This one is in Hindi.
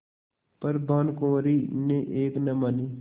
पर भानुकुँवरि ने एक न मानी